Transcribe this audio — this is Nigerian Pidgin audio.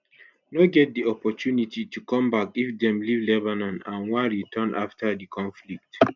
no get di opportunity to come back if dem leave lebanon and wan return afta di conflict